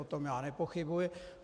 O tom já nepochybuji.